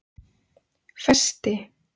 Festi